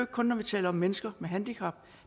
kun når vi taler om mennesker med handicap